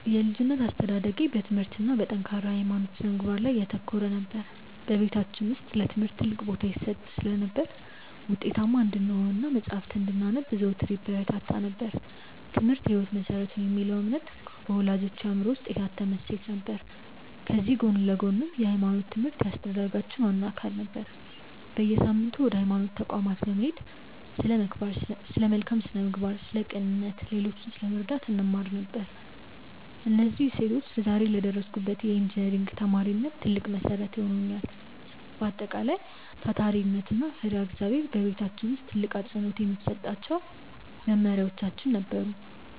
የልጅነት አስተዳደጌ በትምህርት እና በጠንካራ የሃይማኖት ስነ-ምግባር ላይ ያተኮረ ነበር። በቤታችን ውስጥ ለትምህርት ትልቅ ቦታ ይሰጥ ስለነበር፣ ውጤታማ እንድንሆን እና መጽሐፍትን እንድናነብ ዘወትር ይበረታታ ነበር፤ "ትምህርት የህይወት መሰረት ነው" የሚለው እምነት በወላጆቼ አእምሮ ውስጥ የታተመ እሴት ነበር። ከዚህ ጎን ለጎንም የሃይማኖት ትምህርት የአስተዳደጋችን ዋነኛ አካል ነበር። በየሳምንቱ ወደ ሃይማኖት ተቋማት በመሄድ ስለ መልካም ስነ-ምግባር፣ ስለ ቅንነት እና ሌሎችን ስለመርዳት እንማር ነበር። እነዚህ እሴቶች ዛሬ ለደረስኩበት የኢንጂነሪንግ ተማሪነት ትልቅ መሰረት ሆነውኛል። በአጠቃላይ፣ ታታሪነት እና ፈሪሃ እግዚአብሔር በቤታችን ውስጥ ትልቅ አፅንዖት የሚሰጣቸው መመሪያዎቻችን ነበሩ።